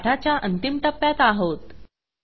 आपण पाठाच्या अंतिम टप्प्यात आहोत